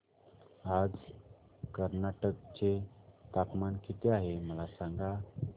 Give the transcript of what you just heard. आज कर्नाटक चे तापमान किती आहे मला सांगा